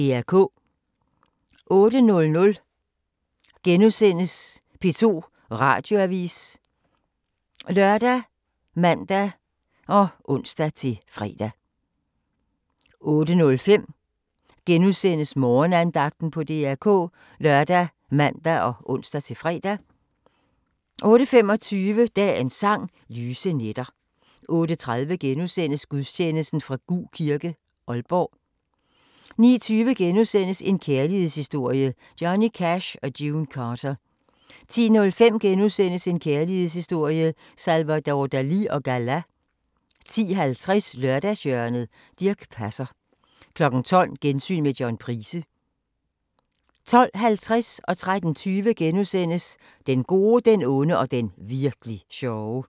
08:00: P2 Radioavis *( lør, man, ons-fre) 08:05: Morgenandagten på DR K *( lør, man, ons-fre) 08:25: Dagens Sang: Lyse nætter 08:30: Gudstjeneste fra Gug Kirke, Aalborg * 09:20: En kærlighedshistorie – Johnny Cash & June Carter * 10:05: En kærlighedshistorie – Salvador Dalì & Gala * 10:50: Lørdagshjørnet - Dirch Passer 12:00: Gensyn med John Price 12:50: Den gode, den onde og den virk'li sjove * 13:20: Den gode, den onde og den virkli' sjove *